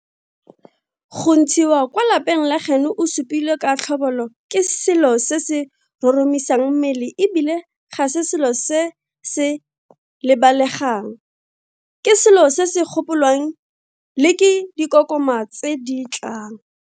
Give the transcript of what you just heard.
Go ntshiwa kwa lapeng la gaeno o supilwe ka tlhobolo ke selo se se roromisang mmele e bile ga se selo se se lebalegang, ke selo se se gopolwang le ke dikokoma tse di tlang.